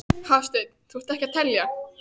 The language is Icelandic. Var hún að segja þetta af eigin reynslu?